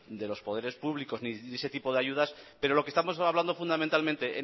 de los poderes públicos ni ese tipo de ayudas pero lo que estamos hablando fundamentalmente